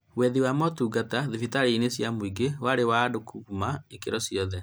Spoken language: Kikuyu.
Wethi wa motungata thibitarĩ inĩ cia mũingĩ warĩ na andũ akuuma ikĩro-inĩ ciothe